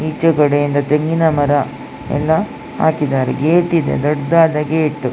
ಈಚೆ ಕಡೆ ಇಂದ ತೆಂಗಿನ ಮರ ಎಲ್ಲ ಹಾಕಿದ್ದಾರೆ ಗೇಟ್ ಇದೆ ದೊಡ್ದ್ದಾದ ಗೇಟ್ .